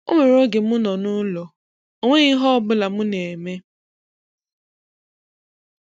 O nwere oge m nọ n'ụlọ, o nweghị ihe ọbụla m na-eme